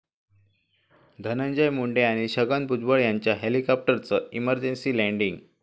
धनंजय मुंडे आणि छगन भुजबळ यांच्या हेलिकॉप्टरचं इमर्जन्सी लँडिंग